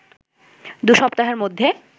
দু’সপ্তাহের মধ্যে